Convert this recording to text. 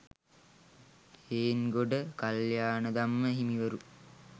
Hengoda Kalyanadhamma හිමිවරු